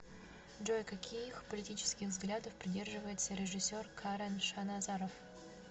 джой каких политических взглядов придерживается режисер карен шаназаров